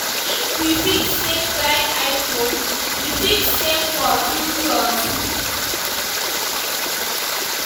If we fit save buy iphone, we fit save for future too.